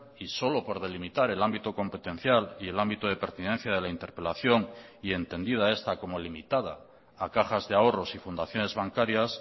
y solo por delimitar el ámbito competencial y el ámbito de pertinencia de la interpelación y entendida esta como limitada a cajas de ahorros y fundaciones bancarias